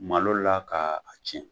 Malo la ka a cɛn.